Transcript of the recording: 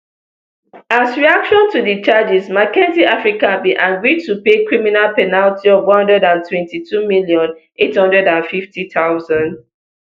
as reaction to di charges mckinsey africa bin agree to pay criminal penalty of one hundred and twenty-two million, eight hundred and fifty thousand